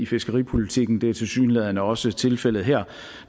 fiskeripolitikken det er tilsyneladende også tilfældet her